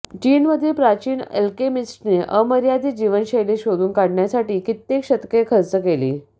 चीनमधील प्राचीन अल्केमिस्टने अमर्यादित जीवनशैली शोधून काढण्यासाठी कित्येक शतके खर्च केली